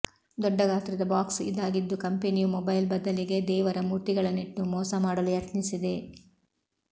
ದೊಡ್ಡ ಗಾತ್ರದ ಬಾಕ್ಸ್ ಇದಾಗಿದ್ದು ಕಂಪನಿಯೂ ಮೊಬೈಲ್ ಬದಲಿಗೆ ದೇವರ ಮೂರ್ತಿಗಳನ್ನಿಟ್ಟು ಮೋಸ ಮಾಡಲು ಯತ್ನಿಸಿದೆ